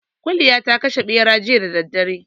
Kuliya ta kashe ɓera jiya da daddare